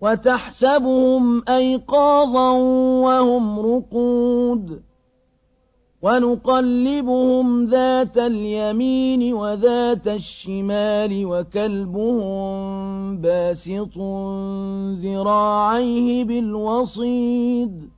وَتَحْسَبُهُمْ أَيْقَاظًا وَهُمْ رُقُودٌ ۚ وَنُقَلِّبُهُمْ ذَاتَ الْيَمِينِ وَذَاتَ الشِّمَالِ ۖ وَكَلْبُهُم بَاسِطٌ ذِرَاعَيْهِ بِالْوَصِيدِ ۚ